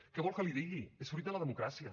què vol que li digui és fruit de la democràcia